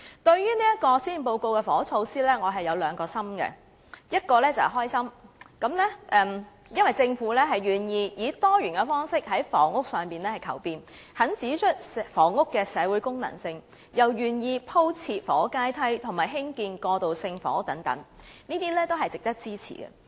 對於這份施政報告的房屋措施，我有兩個心，一個是開心，因為政府願意以多元的方式在房屋上求變，指出房屋的社會功能，亦願意鋪設房屋階梯和興建過渡性房屋等，這些均是值得支持的。